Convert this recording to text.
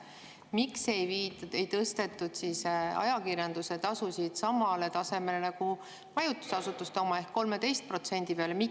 Miks ei tõstetud siis ajakirjanduse tasusid samale tasemele, nagu on majutusasutustel ehk 13% peale?